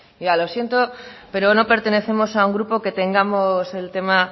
ya lo siento pero no pertenecemos a un grupo que tengamos el tema